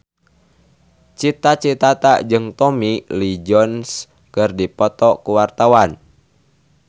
Cita Citata jeung Tommy Lee Jones keur dipoto ku wartawan